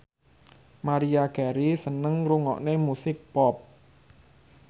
Maria Carey seneng ngrungokne musik pop